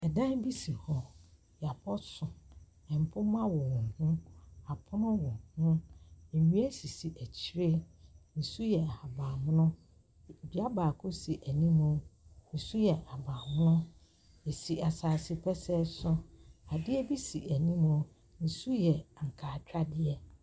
Dan bi si hɔ. Wɔabɔ so. Mpoma wowɔ ho. Apono wɔ ho. Nnua sisi akyire. Ne su yɛ ahaban mono. Dua baako si anim. Ne su yɛ ahaban mono. Ɛsi asase pɛsɛɛ so. Adeɛ bi si anim. Ne su yɛ ankaatwadeɛ.